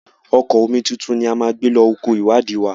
Ọkọ̀ omituntun ni a máa gbé lọ oko ìwádìí wa.